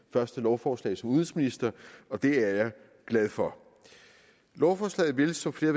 første lovforslag som udenrigsminister og det er jeg glad for lovforslaget vil som flere